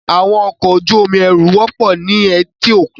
Àwọn ọkọ̀ ojú omi ẹrù wọ́pọ̀ ní etíkun.